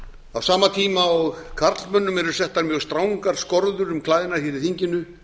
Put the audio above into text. á sama tíma og karlmönnum eru settar mjög strangar skorður um klæðnað hér i þinginu